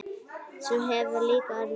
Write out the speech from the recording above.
Sú hefur líka orðið raunin.